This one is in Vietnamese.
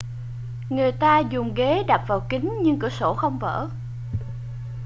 người ta dùng ghế đập vào kính nhưng cửa sổ không vỡ